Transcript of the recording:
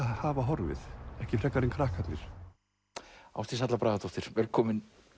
hafa horfið ekki frekar en krakkarnir ádís Halla Bragadóttir velkomin